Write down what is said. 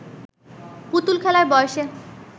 পুতুল খেলার বয়সে